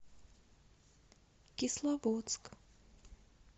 кисловодск